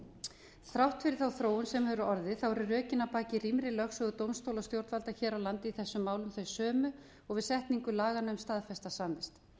þrátt fyrir þá þróun sem hefur orðið eru rökin að baki rýmri lögsögu dómstóla og stjórnvalda hér á landi í þessum málum þau sömu og við setningu laganna um staðfesta samvist